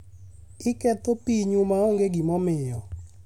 Iketho pinyu maonge gimomiyo.